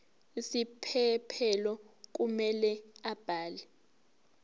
isiphephelo kumele abhale